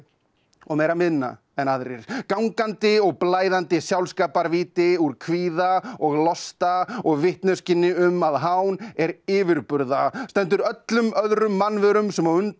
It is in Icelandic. og meira minna en aðrir gangandi og blæðandi sjálfskaparvíti úr kvíða og losta og vitneskjunni um að hán er yfirburða stendur öllum öðrum mannverum sem á undan